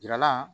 Yira la